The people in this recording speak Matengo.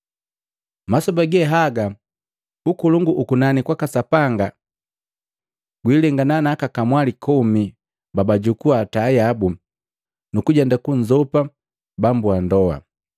“Masoba ge haga, Ukolongu ukunani kwaka Sapanga gulengana na aka kamwali komi babajukua taa yabu, nukujenda kunzopa bambu ndoa.